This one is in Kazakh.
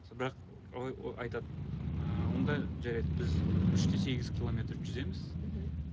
бірақ олар ы айтады ыыы онда жарайды біз үш те сегіз километр жүземіз мхм